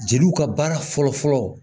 Jeliw ka baara fɔlɔfɔlɔ